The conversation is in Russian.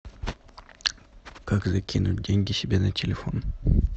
как закинуть деньги себе на телефон